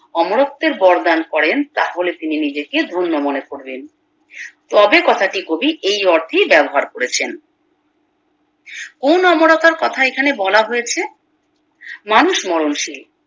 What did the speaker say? অমরত্বের বরদান করেন তাহলে তিনি নিজেকে ধন্য মনে করবেন তবে কথাটি কবি এই অর্থে ব্যাবহার করেছেন কোন অমরতার কথা এখানে বলা হয়েছে মানুষ মরণ শীল